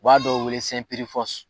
U b'a dɔw wele